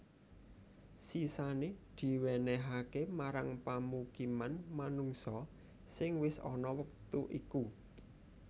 Sisané diwènèhaké marang pamukiman manungsa sing wis ana wektu iku